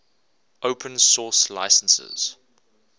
open source licenses